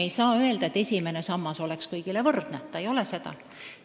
Me ei saa öelda, et esimene sammas on peagi kõigil võrdne – see ei ole seda.